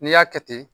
N'i y'a kɛ ten